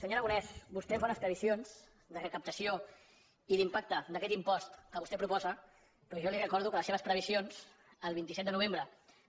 senyor aragonès vostè fa unes previsions de recaptació i d’impacte d’aquest impost que vostè proposa però jo li recordo que les seves previsions el vint set de novembre